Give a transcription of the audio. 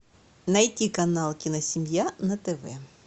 найти канал киносемья на тв